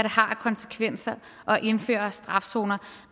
har af konsekvenser at indføre skærpet straf zoner